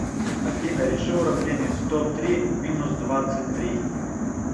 афина реши уровнение сто три минус двадцать три